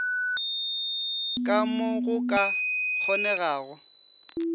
ka mo go ka kgonegago